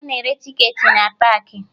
Ana ere tiketi n paakị